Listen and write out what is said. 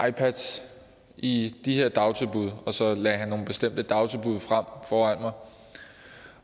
ipads i de her dagtilbud og så lagde han nogle bestemte dagtilbud frem foran mig